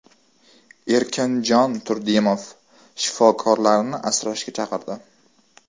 Erkinjon Turdimov shifokorlarni asrashga chaqirdi.